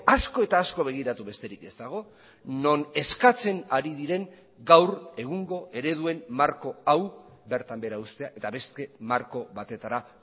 asko eta asko begiratu besterik ez dago non eskatzen ari diren gaur egungo ereduen marko hau bertan behera uztea eta beste marko batetara